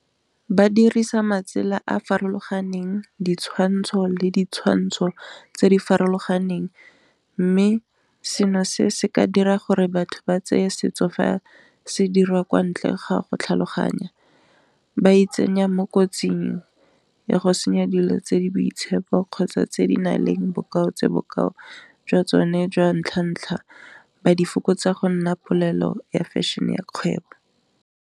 Ba dirisa matsela a a farologaneng ditshwantsho le ditshwantsho tse di farologaneng, mme seno se se ka dira gore batho ba tseye setso fa se dira kwa ntle ga go tlhaloganya, ba itsenya mo kotsing ya go senya dilo tse di boitshepo kgotsa tse di nang le bokao tse bokao jwa tsone jwa ntlha-ntlha, ba di fokotsa go nna polelo ya fashion e ya kgwebo.